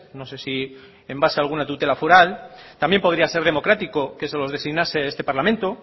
no sé si en base a alguna tutela foral también podría ser democrático que se los designase este parlamento